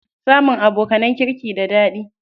Samun abokanan kirki da daɗi.